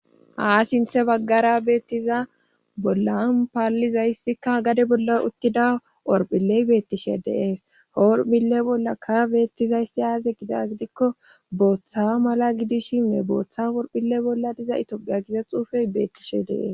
Haa sinthe baggara beettiza bollan paallizayssikka gade bolla uttida orphilley beettishe deees hoorphile bollakka beettizayssi aaze gida gidikko booththa mala gidishinne booththa worphille bolla diza itoophiya giza xuufey beettishe dees